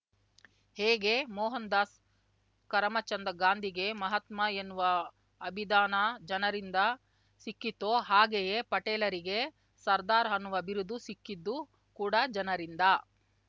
ಹೇಗೆ ಮೋಹನದಾಸ್ ಕರಮಚಂದ್‌ ಗಾಂಧಿಗೆ ಮಹಾತ್ಮ ಎನ್ನುವ ಅಭಿದಾನ ಜನರಿಂದ ಸಿಕ್ಕಿತೋ ಹಾಗೆಯೇ ಪಟೇಲರಿಗೆ ಸರ್ದಾರ್‌ ಅನ್ನುವ ಬಿರುದು ಸಿಕ್ಕಿದ್ದು ಕೂಡ ಜನರಿಂದ